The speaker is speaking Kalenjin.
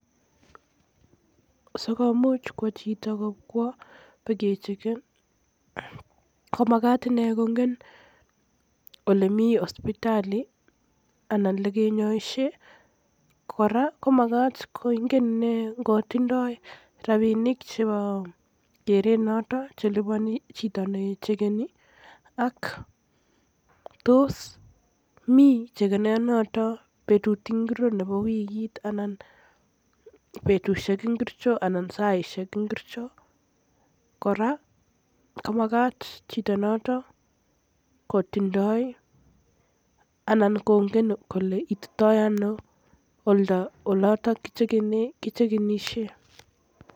Sikomuch chito kwo bakecheken komakat ine kongen ole min hospitali anan ko ole kinyoisien kora komagat kongen ine ngotindoi rapinik chebo keret noton cheliponi chito nechekeni ak tos mi chekena notok en betut ngiro en wikit anan betusiek ngiricho anan saisiek ngircho, kora kobo kamakat chito noto kongen kole ititoi ono oldo yotok ole kichekenisien.